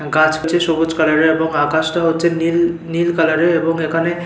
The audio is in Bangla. গাছ আছে সবুজ কালার -এর এবং আকাশ টা হচ্ছে নীল নীল কালার -এর এবং এখানে--